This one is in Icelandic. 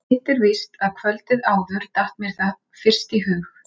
Hitt er víst að kvöldið áður datt mér það fyrst í hug.